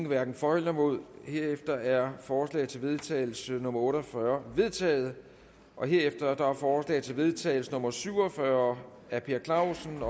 hverken for eller imod stemte herefter er forslag til vedtagelse nummer v otte og fyrre vedtaget herefter er forslag til vedtagelse nummer v syv og fyrre af per clausen